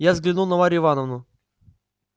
я взглянул на марью ивановну